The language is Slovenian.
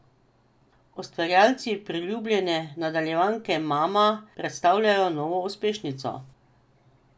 Ustvarjalci priljubljene nadaljevanke Mama predstavljajo novo uspešnico!